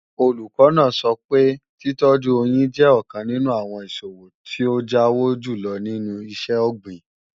Olùkọ́ náà sọ pé títọ́jú oyín jẹ́ ọ̀kan nínú àwọn ìṣòwò tí ó jáwó jùlọ nínú iṣẹ́-ọ̀gbìn